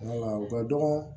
u ka dɔgɔn